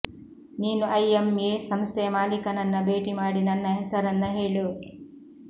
ನೀನು ಐಎಂಎ ಸಂಸ್ಥೆಯ ಮಾಲೀಕನನ್ನ ಭೇಟಿ ಮಾಡಿ ನನ್ನ ಹೆಸರನ್ನ ಹೇಳು